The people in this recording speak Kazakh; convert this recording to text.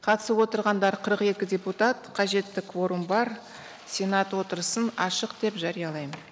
қатысып отырғандар қырық екі депутат қажетті кворум бар сенат отырысын ашық деп жариялаймын